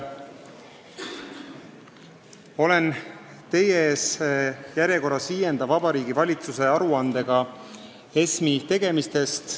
Olen teie ees järjekorras viienda Vabariigi Valitsuse aruandega ESM-i tegemiste kohta.